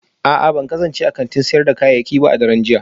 A'a ban kasance a kantin sayar da kayayyaki ba a daren jiya